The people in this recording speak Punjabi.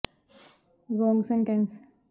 ਤੈਰਾਕੀ ਅਤੇ ਨਾਲ ਨਾਲ ਸਾਈਕਲਿੰਗ ਨਾੜੀ ਕੰਧ ਨੂੰ ਮਜ਼ਬੂਤ